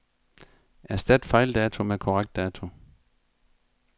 Erstat fejldato med korrekt dato.